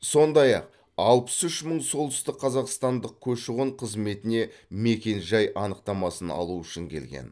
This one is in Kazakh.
сондай ақ алпыс үш мың солтүстікқазақстандық көші қон қызметіне мекен жай анықтамасын алу үшін келген